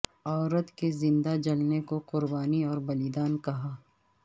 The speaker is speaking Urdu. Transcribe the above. عورت کے زندہ جلنے کو قربانی اور بلیدان کہا